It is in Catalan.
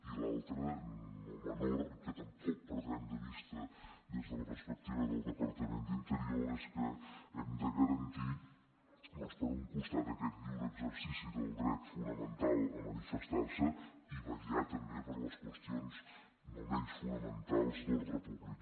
i l’altre no menor i que tampoc perdrem de vista des de la perspectiva del departament d’interior és que hem de garantir doncs per un costat aquest lliure exercici del dret fonamental a manifestar se i vetllar també per les qüestions no menys fonamentals d’ordre públic